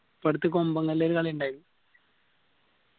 ഇപ്പൊ അടുത്ത് കൊമ്പങ്കല്ലേ ഒരു കളി ഇണ്ടായിൻ